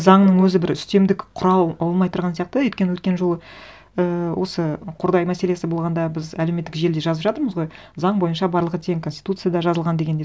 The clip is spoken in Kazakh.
заңның өзі бір үстемдік құра алмай тұрған сияқты өйткені өткен жолы ііі осы қордай мәселесі болғанда біз әлеуметтік желіде жазып жатырмыз ғой заң бойынша барлығы тең конституцияда жазылған дегендей